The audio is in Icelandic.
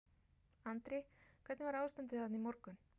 Andri: Hvernig var ástandið þarna í morgun?